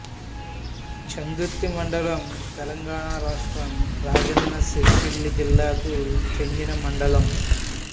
చందుర్తి మండలం తెలంగాణ రాష్ట్రం రాజన్న సిరిసిల్ల జిల్లాకు చెందిన మండలం